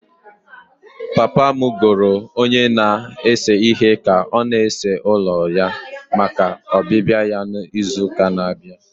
Papa m goro onye na-ese ihe ka ọ na-ese ụlọ ya maka ọbịbịa ya n'izu na-abịa.